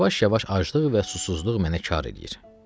Yavaş-yavaş aclığım və susuzluğum mənə kar eləyir.